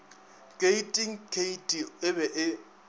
keiting keiti e be e